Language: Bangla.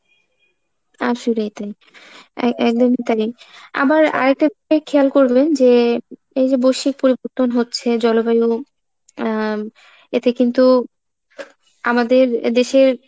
আসলেই তাই, এ~ একদম তাই। আবার আরেকটা দিক খেয়াল করবেন যে এই যে বৈশ্বিক পরিবর্তন হচ্ছে জলবায়ু আহ এতে কিন্তু আমাদের দেশের